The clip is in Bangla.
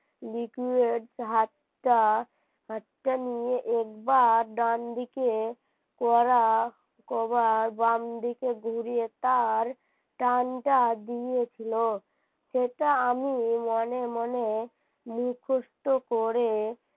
নিয়ে একবার ডান দিকে করা কবার বামদিকে ঘুরিয়ে তার টানটা দিয়েছিল সেটা আমি মনে মনে মুখস্থ করে